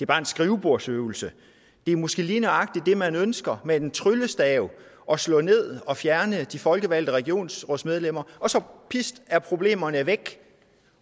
bare en skrivebordsøvelse det er måske lige nøjagtig det man ønsker med en tryllestav at slå ned og fjerne de folkevalgte regionsrådsmedlemmer og så pist er problemerne væk